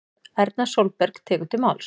Erna Sólberg tekur til máls